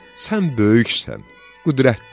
Sən böyüksən, qüdrətlisən.